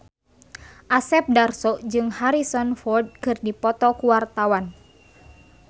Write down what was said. Asep Darso jeung Harrison Ford keur dipoto ku wartawan